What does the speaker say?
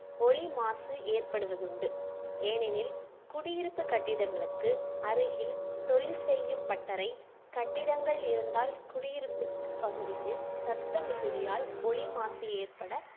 ஒலி மாசு ஏற்படுவது உண்டு ஏனெனில் குடியிருப்பு கட்டிடங்களுக்கு அருகில் தொழில் செய்யும் பட்டறை கட்டிடங்கள் இருந்தால் குடியிருப்புக்கு பகுதிகளில் சத்தம் மிகுதியால் ஒலி மாசு ஏற்பட